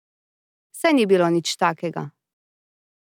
Saj ni bilo nič takega.